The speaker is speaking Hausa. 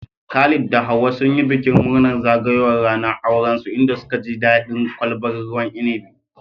Khalid da Hauwa sun yi bikin murnar zagayowar ranar aurensu, inda suka ji daɗin kwalbar ruwan inabi.